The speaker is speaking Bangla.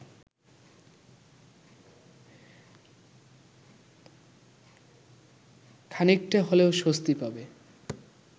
খানিকটা হলেও স্বস্তি পাবে